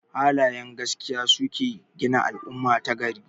Halayen gaskiya suke gina al'umma ta gari.